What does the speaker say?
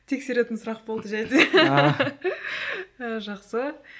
тексеретін сұрақ болды жай жақсы